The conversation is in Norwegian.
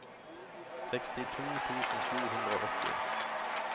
sekstito tusen sju hundre og åtti